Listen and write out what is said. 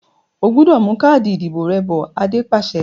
O gbúdọ̀ mú káàdì ìdìbò rẹ bọ̀! Adé pàṣẹ.